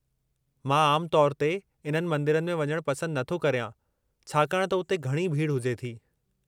मां आमु तौरु ते इन्हनि मंदरनि में वञणु पसंदु नथो करियां छाकाणि त उते घणी भीड़ु हुजे थी।